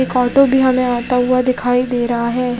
एक ऑटो भी हमे आता हुआ दिखाई दे रहा है।